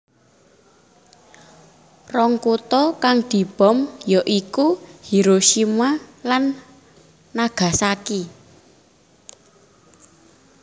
Rong kutha kang dibom ya iku Hiroshima lan Nagasaki